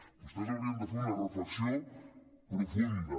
vostès haurien de fer una reflexió profunda